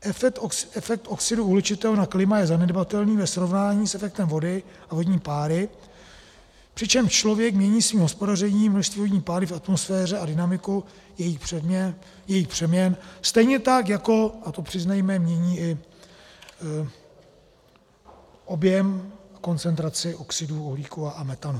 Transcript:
Efekt oxidu uhličitého na klima je zanedbatelný ve srovnání s efektem vody a vodní páry, přičemž člověk mění svým hospodařením množství vodní páry v atmosféře a dynamiku jejích přeměn stejně tak jako - a to přiznejme - mění i objem a koncentraci oxidů uhlíku a metanu.